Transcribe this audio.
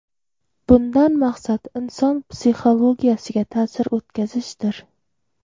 Bundan maqsad inson psixologiyasiga ta’sir o‘tkazishdir.